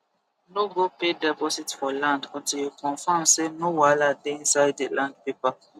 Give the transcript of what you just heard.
no go pay deposit for land until you confirm say no wahala dey inside di land paper